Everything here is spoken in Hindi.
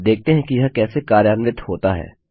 अब देखते हैं कि यह कैसे कार्यान्वित होता है